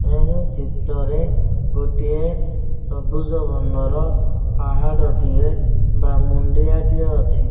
ଏହି ଚିତ୍ରରେ ଗୋଟିଏ ସବୁଜ ବର୍ଣ୍ଣର ପାହାଡ଼ ଟିଏ ବା ମୁଣ୍ଡିଆ ଟିଏ ଅଛି।